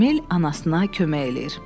Emil anasına kömək eləyir.